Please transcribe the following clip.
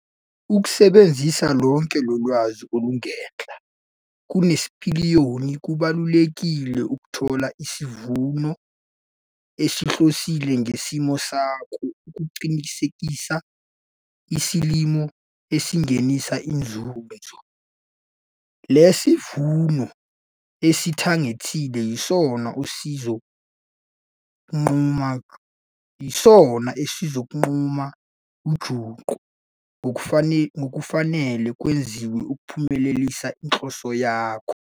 Ukusebenzisa lonke lolwazi olungenhla nesipiliyoni kubalulekile ukuthola isivuno osihlosile ngesimo sakho ukuqinisekisa isilimo esingenisa inzuzo. Le sivuno osithagethile yisona esizo nquma ujunqu ngokufanele kwenziwe ukuphumelelisa inhloso yakho.